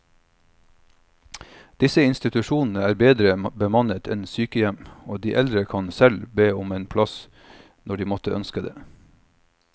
Disse institusjonene er bedre bemannet enn sykehjem, og de eldre kan selv be om en plass når de måtte ønske det.